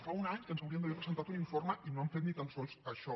fa un any que ens haurien d’haver presentat un informe i no han fet ni tan sols això